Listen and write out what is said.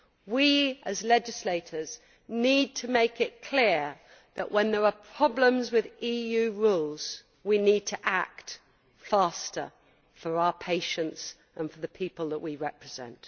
We as legislators need to make it clear that, when there are problems with EU rules, we need to act faster for our patients and for the people that we represent.